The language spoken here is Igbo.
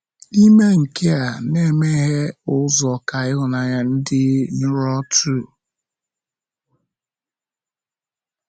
Ime nke a na-emeghe ụzọ ka ịhụnanya dị nro too.